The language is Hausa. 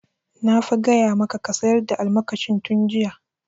Na fa gaya maka ka sayar da almakashin tun jiya!